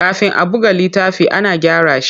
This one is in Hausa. Kafin a buga littafi, ana gyara shi.